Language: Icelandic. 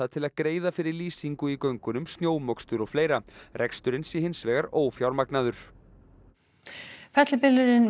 til að greiða fyrir lýsingu í göngunum snjómokstur og fleira reksturinn sé hins vegar ófjármagnaður fellibylurinn